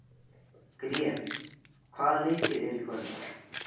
Grét, hvaða leikir eru í kvöld?